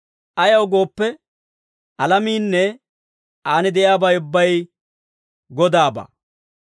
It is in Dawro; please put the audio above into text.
Ayaw gooppe, alamiinne aan de'iyaabay ubbay Godaabaa.